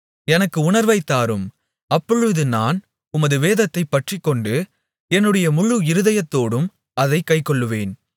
எனக்கு உணர்வைத் தாரும் அப்பொழுது நான் உமது வேதத்தைப் பற்றிக்கொண்டு என்னுடைய முழு இருதயத்தோடும் அதைக் கைக்கொள்ளுவேன்